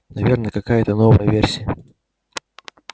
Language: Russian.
наверное какая-та новая версия